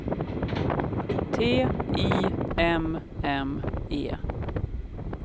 T I M M E